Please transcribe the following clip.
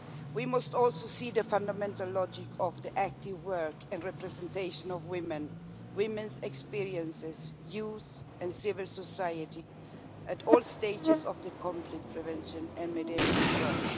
We must also see the fundamental logic of the active work and representation of women with women's experiences, youth and civil society at all stages of conflict prevention and mediation work.